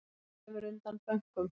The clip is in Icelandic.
Grefur undan bönkum